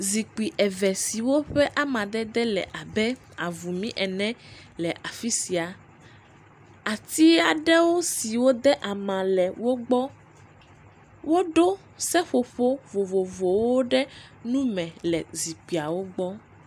Zikpui eve siwo ƒe ama dede le abe avumi ene le afisia. Ati aɖe siwo de ama le wogbɔ. Woɖo seƒoƒo vovovowo ɖe nume le zikpuiwo gbɔ.